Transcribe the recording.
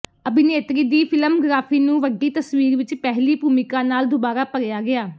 ਅਭਿਨੇਤਰੀ ਦੀ ਫ਼ਿਲਮਗ੍ਰਾਫੀ ਨੂੰ ਵੱਡੀ ਤਸਵੀਰ ਵਿਚ ਪਹਿਲੀ ਭੂਮਿਕਾ ਨਾਲ ਦੁਬਾਰਾ ਭਰਿਆ ਗਿਆ